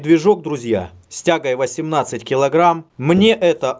движок друзья с тягой восемнадцать килограмм мне это